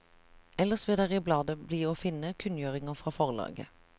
Ellers vil der i bladet bli å finne kunngjøringer fra forlaget.